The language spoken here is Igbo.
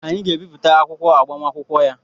Anyị ga-abipụtara akwụkwọ agbamakwụkwọ ya